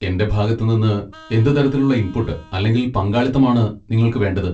എന്റെ ഭാഗത്ത് നിന്ന് എന്ത് തരത്തിലുള്ള ഇൻപുട്ട് അല്ലെങ്കിൽ പങ്കാളിത്തമാണ് നിങ്ങൾക്ക് വേണ്ടത്?